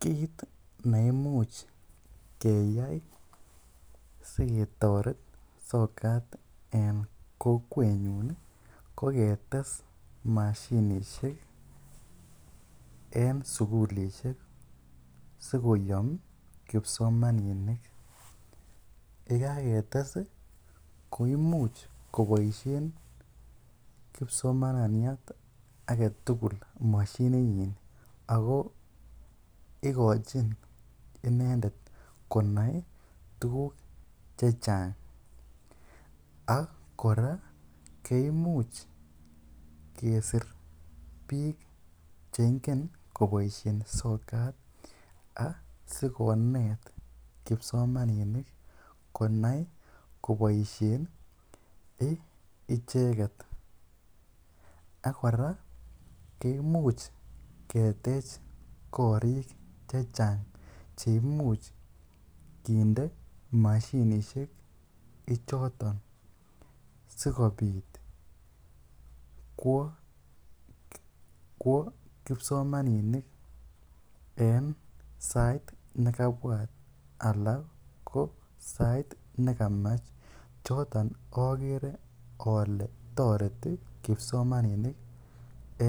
Kiit neimuch keyai siketoret sokat en kokwenyun ko ketes mashinishek en sukulishek sikoyom kipsomaninik, yekaketes koimuch koboishen kipsmaniat aketukul moshini nyin ak ko ikochin inendet konai tukuk chechang ak kora kimuch kesir biik chengen koboishen sokat asikonet kipsomaninik konai koboishen icheket ak kora kimuch ketech korik chechang cheimuch kinde mashinishek ichoton sikobit kwoo kipsomaninik en sait nekabwat alaa ko sait nekamach, choton okere olee toreti kipsomaninik